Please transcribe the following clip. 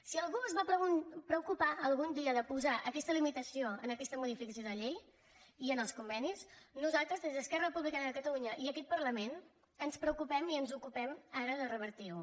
si algú es va preocupar algun dia de posar aquesta limitació en aquesta modificació de la llei i en els convenis nosaltres des d’esquerra republicana de catalunya i aquest parlament ens preocupem i ens ocupem ara de revertir ho